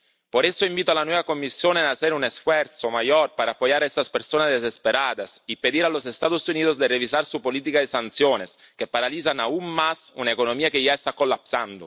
Por eso invito a la nueva Comisión a hacer un esfuerzo mayor para apoyar a estas personas desesperadas y pedir a los Estados Unidos que revisen su política de sanciones, que paralizan aún más una economía que ya se está colapsando.